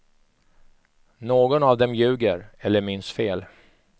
Någon av dem ljuger, eller minns fel.